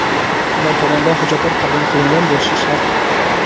ular tomonidan hujjatlar qabul qilingan bo‘lishi shart.